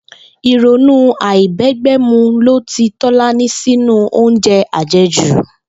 Ìrònú àìbé̩gbé̩mu lo ti Tó̩lání sínú oúnje̩ àje̩jù